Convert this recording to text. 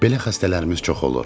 Belə xəstələrimiz çox olur.